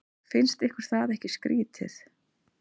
Finnst ykkur það ekki skrýtið?